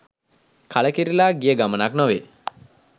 කලකිරිලා ගිය ගමනක් නොවෙයි.